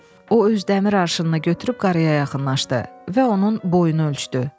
O öz dəmir arşınını götürüb qarıya yaxınlaşdı və onun boynunu ölçdü.